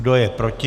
Kdo je proti?